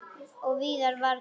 Og Viðar varð glaður.